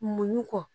Muɲu kɔ